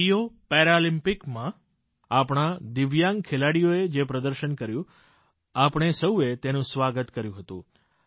રીયો પેરાલિમ્પિકમાં આપણા દિવ્યાંગ ખેલાડીઓએ જે પ્રદર્શન કર્યું આપણે સૌએ તેનું સ્વાગત કર્યુ હતું